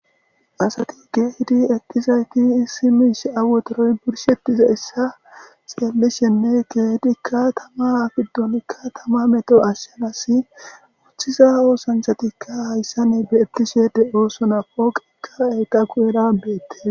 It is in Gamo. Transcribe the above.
asati kehidi etizayti issimish awotoroy bursheptiza issa xeellishenne keetikka tama fiddonikka tama meto ashshenasi uththisa oosanthatikka hayssane beetishe de'osona pooqikka eqa ku7erabeette